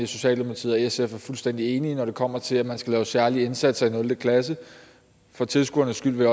socialdemokratiet og sf er fuldstændig enige når det kommer til at man skal lave særlige indsatser i nul klasse for tilskuernes skyld vil